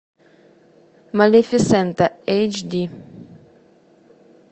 малефисента эйч ди